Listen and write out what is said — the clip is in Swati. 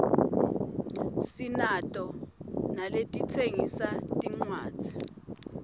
sinato naletitsengisa tincuadzi